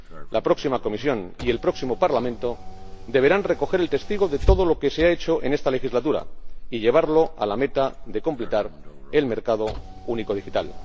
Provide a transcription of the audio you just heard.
La próxima Comisión y el próximo Parlamento deberán recoger el testigo de todo lo que se ha hecho en esta legislatura y llevarlo a la meta de completar el mercado único digital.